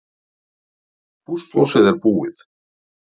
Húsplássið er búið